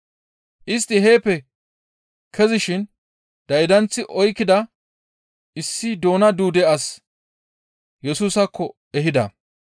Istti heeppe kezishin daydanththi oykkida issi doona duude as Yesusaakko ehida.